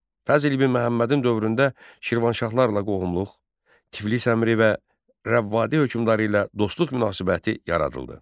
Fəzl İbn Məhəmmədin dövründə Şirvanşahlarla qohumluq, Tiflis əmiri və Rəvvadi hökmdarı ilə dostluq münasibəti yaradıldı.